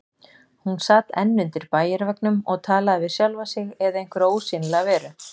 Hún sat enn undir bæjarveggnum og talaði við sjálfa sig eða einhverja ósýnilega veru.